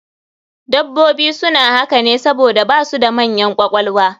Dabbobi suna haka ne saboda su basu da manyan ƙwaƙwalwa